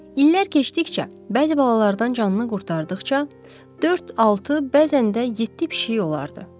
İllər keçdikcə bəzi balalardan canını qurtardıqca, dörd, altı, bəzən də yeddi pişiyi olardı.